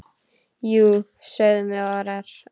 Jú, sögðum við örar.